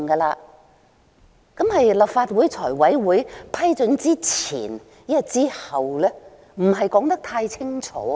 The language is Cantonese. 那麼是立法會財務委員會批准之前還是之後呢？